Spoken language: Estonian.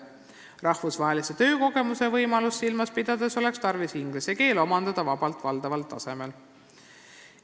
Rahvusvahelise töökogemuse võimalust silmas pidades oleks tarvis inglise keel omandada vabalt valdamise tasemel.